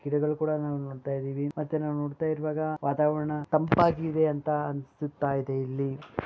ಗಿಡಗಲ್ಲನು ನಾವು ನೋಡತಾ ಇದ್ದೇವೆ ಮತ್ತೆ ನಾವ್ ನೋಡತಾ ಇರೋವಾಗ ವಾತಾವರ್ಣ ತಂಪಾಗಿದೆ ಅಂತಾ ಅನಿಸ್ತಾ ಇದೆ ಇಲ್ಲಿ.